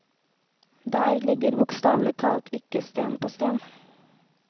Der ligger bokstavelig talt ikke sten på sten.